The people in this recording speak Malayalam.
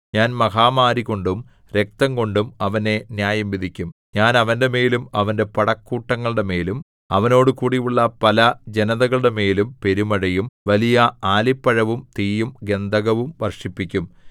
ഞാൻ മഹാമാരികൊണ്ടും രക്തംകൊണ്ടും അവനെ ന്യായംവിധിക്കും ഞാൻ അവന്റെമേലും അവന്റെ പടക്കൂട്ടങ്ങളുടെമേലും അവനോടുകൂടിയുള്ള പല ജനതകളുടെമേലും പെരുമഴയും വലിയ ആലിപ്പഴവും തീയും ഗന്ധകവും വർഷിപ്പിക്കും